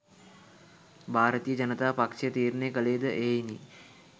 භාරතීය ජනතා පක්ෂය තීරණය කළේ ද එහෙයිනි.